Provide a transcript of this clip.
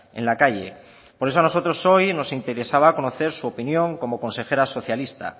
en la calle por eso a nosotros hoy nos interesaba conocer su opinión como consejera socialista